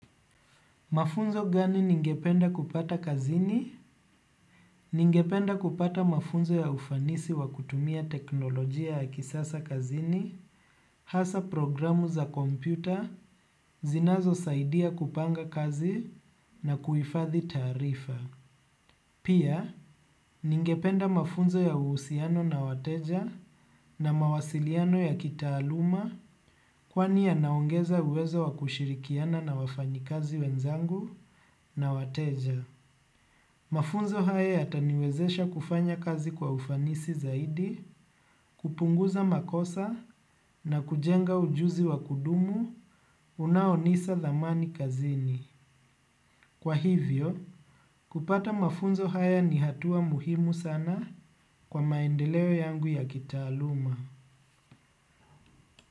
Mafunzo gani ningependa kupata kazini? Ningependa kupata mafunzo ya ufanisi wa kutumia teknolojia ya kisasa kazini, hasa programu za kompyuta, zinazo saidia kupanga kazi na kuhifadhi taarifa. Pia, ningependa mafunzo ya uhusiano na wateja na mawasiliano ya kitaaluma kwani yanaongeza uwezo wa kushirikiana na wafanyakazi wenzangu na wateja. Mafunzo haya yatani wezesha kufanya kazi kwa ufanisi zaidi, kupunguza makosa na kujenga ujuzi wa kudumu unaonisa dhamani kazini. Kwa hivyo, kupata mafunzo haya ni hatua muhimu sana kwa maendeleo yangu ya kitaaluma.